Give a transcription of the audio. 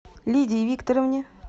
лидии викторовне